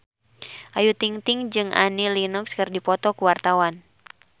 Ayu Ting-ting jeung Annie Lenox keur dipoto ku wartawan